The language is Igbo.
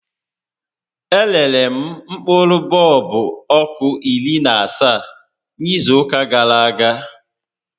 E rere m mkpụrụ bọọlbụ ọkụ iri na asaa n'izu ụka gàrà aga